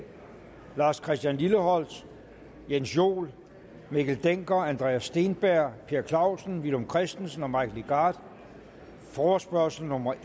lars christian lilleholt jens joel mikkel dencker andreas steenberg per clausen villum christensen og mike legarth forespørgsel nummer